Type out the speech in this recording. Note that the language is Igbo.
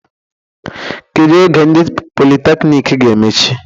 Kedu oge ndị politekniik ga-emechi?